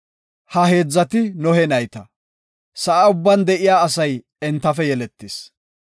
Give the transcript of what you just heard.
Ha heedzati Nohe nayta; sa7a ubban de7iya asay entafe yeletidosona.